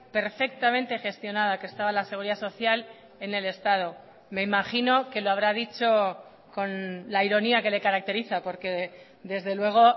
perfectamente gestionada que estaba la seguridad social en el estado me imagino que lo habrá dicho con la ironía que le caracteriza porque desde luego